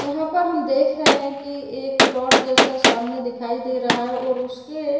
यहाँ पर हम देख रहे कि एक प्लोट जैसा सामने दिखाई दे रहा है और उसके --